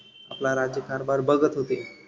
आपला राज्य कारभार बघत होते.